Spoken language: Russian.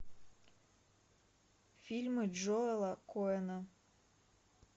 фильмы джоэла коэна